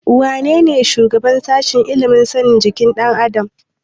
Wanene shugaban sashen ilimin sanin jikin ɗan adam?